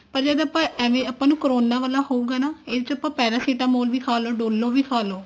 ਪਰ ਜਦ ਆਵਾਂ ਏਵੇਂ ਆਪਾਂ ਨੂੰ corona ਵਾਲਾ ਹੋਊਗਾ ਨਾ ਇਹ ਚ ਆਪਾਂ paracetamol ਵੀ ਖਾਲੋ Dolo ਵੀ ਖਾਲੋ